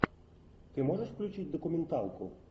ты можешь включить документалку